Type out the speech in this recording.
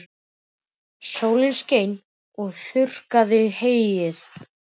Og sólin skein og þurrkaði heyið.